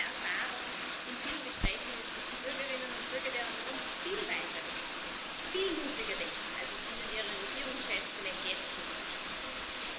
Aber meine Erfahrung aus vielen Gesprächen ist, dass die Bürgerinnen und Bürger der Union viel weiterdenken, viel mutiger denken, als es ihnen ihre Regierungschefs vielleicht jetzt schon zutrauen würden.